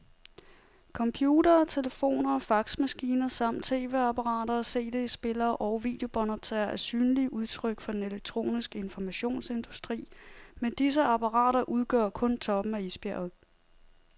Computere, telefoner og faxmaskiner samt tv-apparater, cd-spillere og videobåndoptagere er synlige udtryk for den elektroniske informationsindustri, men disse apparater udgør kun toppen af isbjerget.